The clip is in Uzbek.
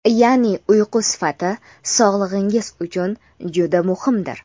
ya’ni uyqu sifati sog‘ligingiz uchun juda muhimdir.